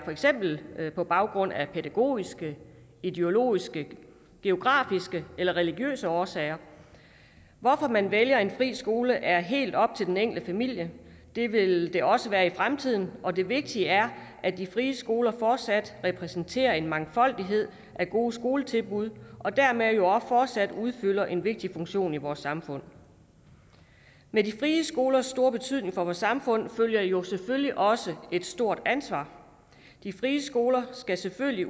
for eksempel være på baggrund af pædagogiske ideologiske geografiske eller religiøse årsager hvorfor man vælger en fri skole er helt op til den enkelte familie det vil det også være i fremtiden og det vigtige er at de frie skoler fortsat repræsenterer en mangfoldighed af gode skoletilbud og dermed jo også fortsat udfylder en vigtig funktion i vores samfund med de frie skolers store betydning for vores samfund følger jo selvfølgelig også et stort ansvar de frie skoler skal selvfølgelig